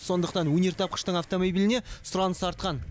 сондықтан өнертапқыштың автомобиліне сұраныс артқан